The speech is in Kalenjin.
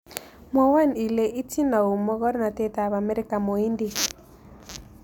Mwawon ile iiytin au mogornotetap amerika mohindik